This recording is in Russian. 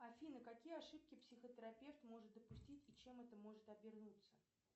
афина какие ошибки психотерапевт может допустить и чем это может обернуться